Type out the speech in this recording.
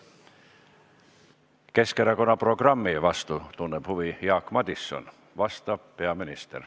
Keskerakonna programmi vastu tunneb huvi Jaak Madison, vastab peaminister.